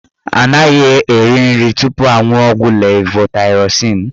Anaghị eri nri tupu aṅuọ ọgwụ levotaịrozin.